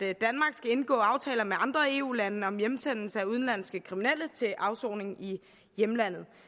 skal indgå aftaler med andre eu lande om hjemsendelse af udenlandske kriminelle til afsoning i hjemlandet